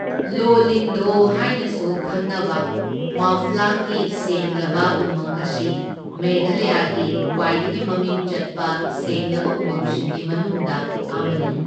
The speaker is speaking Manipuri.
ꯂꯣ ꯂꯤꯡꯗꯣꯍ ꯍꯥꯏꯅꯁꯨ ꯈꯪꯅꯕ ꯃꯥꯎꯐ꯭ꯂꯥꯡꯒꯤ ꯁꯦꯡꯂꯕ ꯎꯃꯪ ꯑꯁꯤ ꯃꯦꯘꯥꯂꯌꯥꯒꯤ ꯈ꯭ꯋꯥꯏꯗꯒꯤ ꯃꯃꯤꯡ ꯆꯠꯄ ꯁꯦꯡꯂꯕ ꯎꯃꯪꯁꯤꯡꯒꯤ ꯃꯅꯨꯡꯗ ꯑꯃꯅꯤ꯫